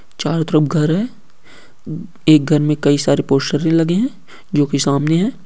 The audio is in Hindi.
चारों तरफ घर है| एक घर मे कई सारे लगे है जो की सामने है।